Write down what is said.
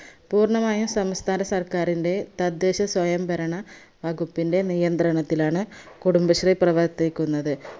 പൂർണമായും സംസ്ഥാന സർക്കാറിന്റെ തദ്ദേശ സ്വയംഭരണ വകുപ്പിന്റെ നിയന്ത്രണത്തിലാണ് കുടുംബശ്രീ പ്രവർത്തിക്കുന്നത്